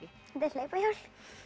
þetta er hlaupahjól